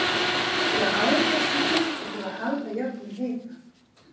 mikla aðgæslu þurfti til að halda jöfnum hita